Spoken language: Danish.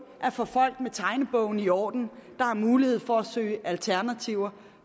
er for folk med tegnebogen i orden der har mulighed for at søge alternativer